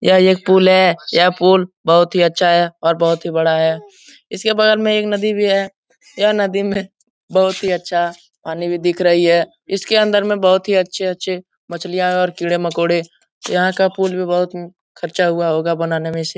यह एक पुल है यह पुल बहुत ही अच्छा है और बहुत ही बड़ा है इसके बगल में एक नदी भी है यह नदी में बहुत अच्छा पानी भी दिख रही है इसके अंदर में बहुत ही अच्छे-अच्छे मछलियाँ और कीड़े-मोकोड़े यहाँ का पुल भी बोहोत ख़र्चा हुआ होगा बनाने में इसे।